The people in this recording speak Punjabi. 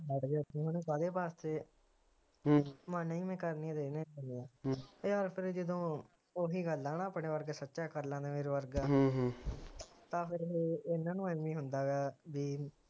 ਕਾਹਦੇ ਵਾਸਤੇ ਮਨਗੇ ਕਰਨੀ ਤਾ ਮੈ ਇਹਦੇ ਨਾਲ ਏ ਕਰਨੀ ਆ ਯਾਰ ਫਿਰ ਜਦੋ ਓਹੀ ਗੱਲ ਆ ਹੈਨਾ ਆਪਣੇ ਵਰਗੇ ਸੱਚਾ ਕਰ ਲੈਂਦੇ ਤਾ ਫਿਰ ਇਹਨਾਂ ਨੂੰ ਏਵੇ ਈ ਹੁੰਦਾ ਹੈਗਾ ਬੀ